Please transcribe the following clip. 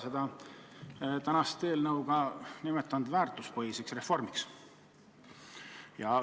Te olete täna arutatava eelnõu sisu nimetanud ka väärtuspõhiseks reformiks.